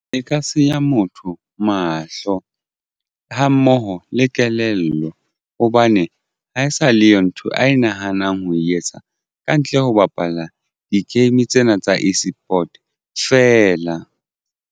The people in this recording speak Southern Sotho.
E ka senya motho mahlo ha mmoho le kelello hobane ha e sa leyo ntho ae nahanang ho etsa kantle ho bapala di-game tsena tsa eSport feela.